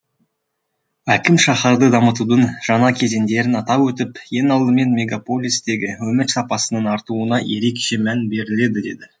әкім шаһарды дамытудың жаңа кезеңдерін атап өтіп ең алдымен мегаполистегі өмір сапасының артуына ерекше мән беріледі деді